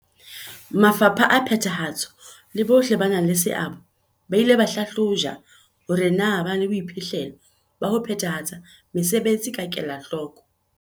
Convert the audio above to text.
Mafapha a phethahatso le bohle ba nang le seabo ba ile ba hlahlojwa hore na ba na le boiphihlelo ba ho phethahatsa mesebetsi ka kelahloko.